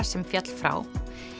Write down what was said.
sem féll frá